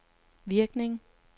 virkning